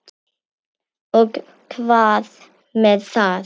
Og hvað með það?